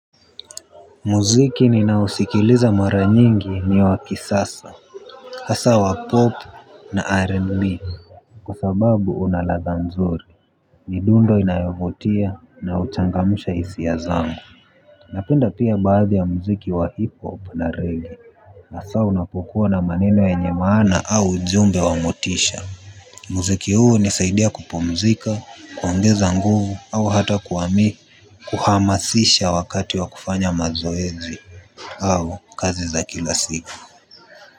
Muziki ninaosikiliza mara nyingi ni wa kisasa. Hasa wa pop na rnb kwa sababu unaladha mzuri midundo inayovutia na huchangamsha hisia zangu. Napenda pia baadhi ya muziki wa hip hop na reggae hasa unapokuwa na maneno yenye maana au ujumbe wa motisha. Muziki huu hunisaidia kupumzika kuongeza nguvu au hata kuwami kuhamasisha wakati wa kufanya mazoezi au kazi za kila siku.